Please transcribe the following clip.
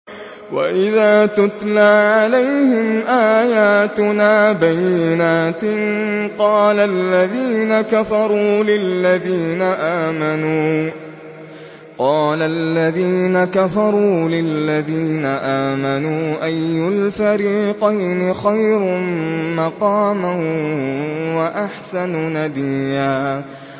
وَإِذَا تُتْلَىٰ عَلَيْهِمْ آيَاتُنَا بَيِّنَاتٍ قَالَ الَّذِينَ كَفَرُوا لِلَّذِينَ آمَنُوا أَيُّ الْفَرِيقَيْنِ خَيْرٌ مَّقَامًا وَأَحْسَنُ نَدِيًّا